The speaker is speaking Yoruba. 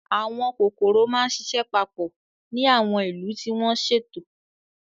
Àwọn kòkòrò máa ń ṣiṣẹ́ papọ̀ ní àwọn ìlú tí wọ́n ṣètò.